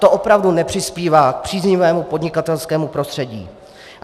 To opravdu nepřispívá k příznivému podnikatelskému prostředí.